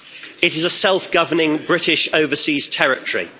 It is a self governing British overseas territory.